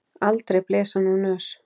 Aldrei blés hann úr nös.